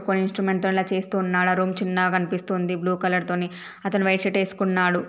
కొన్ని ఇన్స్ట్రుమెంట్ తో అలా చేస్తూ ఉన్నాడు. ఆ రూమ్ చిన్నగా కనిపిస్తుంది. బ్లూ కలర్ తోని అతను వైట్ షర్ట్ ఏసుకున్నాడు.